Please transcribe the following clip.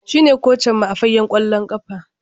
Shine kocinmu a fagen kwallon kafa